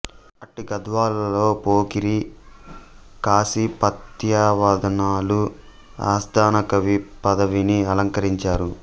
అట్టి గద్వాలలో పోకూరి కాశీపత్యావధానులు ఆస్థాన కవి పదవిని అలంకరించారు